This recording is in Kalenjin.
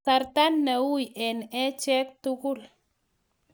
Kasarta ne uii eng achek tugul